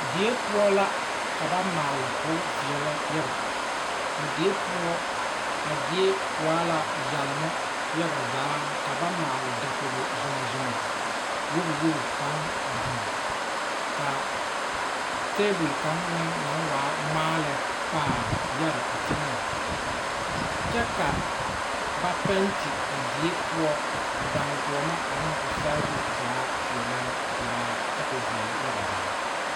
Die poɔ la ka ba maale k'o veɛlɛ yaga a die poɔ a die waa la yɛloŋ yaga zaa ka ba maale dakogi zomzoma wogo wogo kaŋ a biŋ ka tebul kaŋa naŋ waa ŋmaa lɛ pãã yɛre a teŋɛŋ kyɛ ka ba pɛɛte a die poɔ odaagoɔma ane o saazu zaa peɛle kyɛ ka o veɛlɛ yaga zaa.